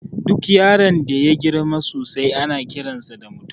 Duk yaron da yagirma sosai ana kiransa da mutum